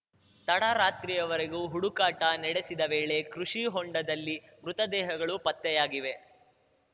ತಡರಾತ್ರಿವರೆಗೂ ಹುಡುಕಾಟ ನಡೆಸಿದ ವೇಳೆ ಕೃಷಿ ಹೊಂಡದಲ್ಲಿ ಮೃತದೇಹಗಳು ಪತ್ತೆಯಾಗಿವೆ